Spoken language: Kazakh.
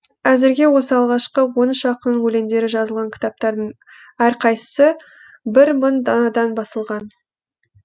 әзірге осы алғашқы он үш ақын өлеңдері жазылған кітаптардың әрқайсысы бір мың данадан басылған